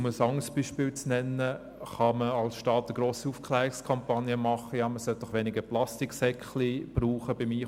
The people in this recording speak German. Man kann als Staat zum Beispiel eine grosse Aufklärungskampagne durchführen und die Leute auffordern, beim Einkauf weniger Plastiksäcke zu verwenden.